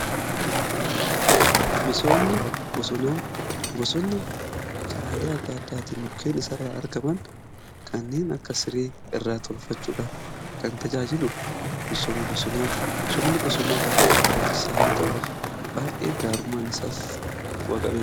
Bosonni karaalee adda addaatiin mukkeen isa irraa argaman kanneen akka siree irraa tolfachuudhaaf kan tajaajilu. misoomni bosonaa baay'ee barbaachisaa yoo ta'u baay'ee gaarummaan isaas bu'aa qabeessa.